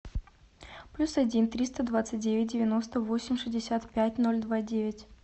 плюс один триста двадцать девять девяносто восемь шестьдесят пять ноль два девять